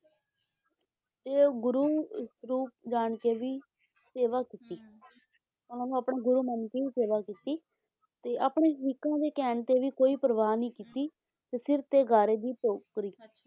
ਤੇ ਉਹ ਗੁਰੂ ਸਰੂਪ ਜਾਣਕੇ ਵੀ ਸੇਵਾ ਕੀਤੀ ਹੁੰ ਉਹਨਾਂ ਨੂੰ ਆਪਣਾ ਗੁਰੂ ਮੰਨਕੇ ਹੀ ਸੇਵਾ ਕੀਤੀ ਤੇ ਆਪਣੇ ਸ਼ਰੀਕਾਂ ਦੇ ਕਹਿਣ ਤੇ ਵੀ ਕੋਈ ਪਰਵਾਹ ਨਹੀਂ ਕੀਤੀ ਤੇ ਸਿਰ ਤੇ ਗਾਰੇ ਦੀ ਟੋਕਰੀ